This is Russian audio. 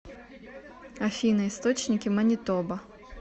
афина источники манитоба